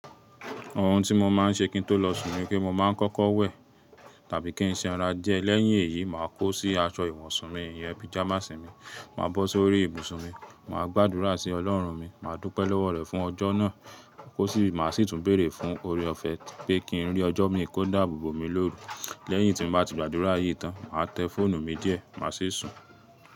Ohun tí mo máa ń ṣe kí n tó lọ sùn ni pé mo máa ń kọ́kọ́ wẹ̀ tàbí kí n ṣẹran díẹ̀. Lẹ́yìn èyí, màá kó sí aṣọ ìwọ̀nsùn mi, ìyẹ́ píjamásì mi. Màá bọ́ sórí ibùsùn mi, màá gbàdúrà sí Ọlọ́run mi, màá dúpẹ́ lọ́wọ́ rẹ̀ fún ọjọ́ náà, kó sì máa sì tún bèrè fun oore ọ̀fẹ́ pé kí n rí ọjọ́ mi kó dáàbò bò mi lóru. Lẹ́yìn tí mo bá ti gbàdúrà yìí tán, màá tẹ fọ́ònù mi díẹ̀, màá sì sùn.